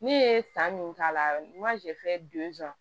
Ne ye fan min k'a la n ka